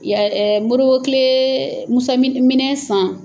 Mori bo tile, Musa minɛ san.